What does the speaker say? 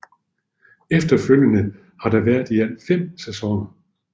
Efterfølgende har der været i alt 5 sæsoner